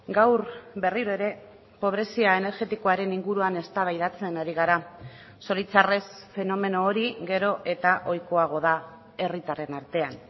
gaur berriro ere pobrezia energetikoaren inguruan eztabaidatzen ari gara zoritzarrez fenomeno hori gero eta ohikoago da herritarren artean